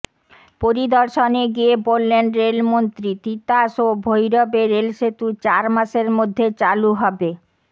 পরিদর্শনে গিয়ে বললেন রেলমন্ত্রী তিতাস ও ভৈরবে রেলসেতু চার মাসের মধ্যে চালু হবে